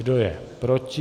Kdo je proti?